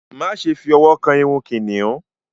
Máṣe fí òwò kán ìrù kìnìún!